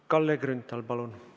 Kalle Grünthal, palun!